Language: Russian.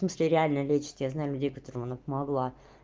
смысли реально лечите я знаю людей которым она помогла